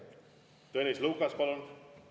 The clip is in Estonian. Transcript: Tõnis Lukas, palun!